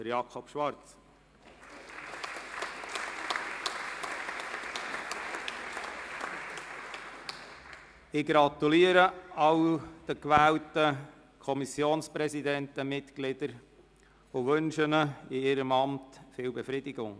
Ich gratuliere allen gewählten Kommissionspräsidenten und -mitgliedern und wünsche ihnen in ihrem Amt viel Befriedigung.